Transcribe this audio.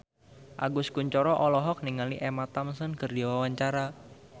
Agus Kuncoro olohok ningali Emma Thompson keur diwawancara